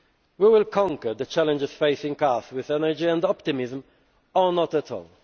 to play. We will conquer the challenges facing us with energy and optimism or not